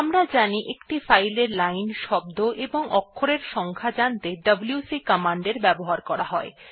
আমরা জানি যে একটি ফাইলের লাইন শব্দ এবং অক্ষরের সংখ্যা জানতে ডব্লিউসি কমান্ডের ব্যবহার করা হয়